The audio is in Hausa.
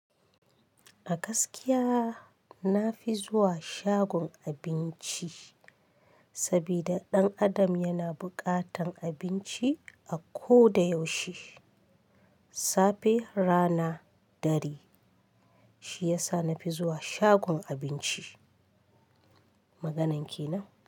A gaskiya na fi zuwa shagon abinci saboda ɗan adam yana buƙatar abinci a koda yaushe safe, rana, dare. Shi ya sa na fi zuwa shagon abinci. Maganar kenan.